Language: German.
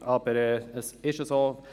Aber es ist so.